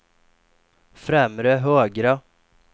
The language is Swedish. främre högra